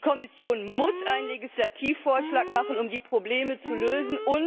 Die Kommission muss einen Legislativvorschlag machen, um die Probleme zu lösen.